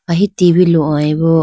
ahi T V lohoyi bo.